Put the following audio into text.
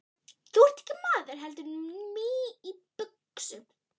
Þú ert ekki maður heldur mý í buxum.